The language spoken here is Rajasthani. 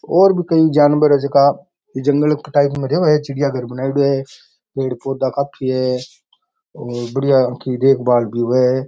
और भी कई जानवर है जीका जंगल टाइप एक चिड़िया घर बनायेड़ो है पेड़ पौधा काफी है और बढ़िया सी देख भाल भी होए है।